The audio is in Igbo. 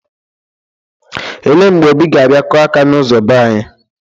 Ele mgbe Obi ga-abia kụa aka n'ụzo be anyị?